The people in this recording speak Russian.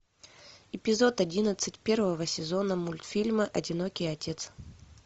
эпизод одиннадцать первого сезона мультфильма одинокий отец